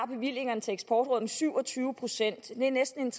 bevillingerne til eksportrådet med syv og tyve procent det er næsten en